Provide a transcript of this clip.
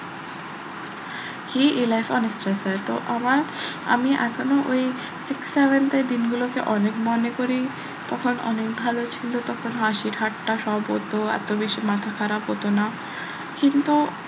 তো আমার আমি এখনো ওই six seventh এর দিনগুলোকে অনেক মনে করি তখন অনেক ভালো ছিল তখন হাসি ঠাট্টা সব হতো এত বেশি মাথা খারাপ হতো না কিন্তু